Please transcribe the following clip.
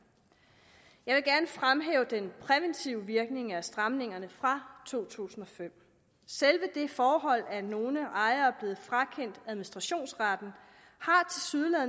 jeg vil fremhæve den præventive virkning af stramningerne fra to tusind og fem selve det forhold at nogle ejere er blevet frakendt administrationsretten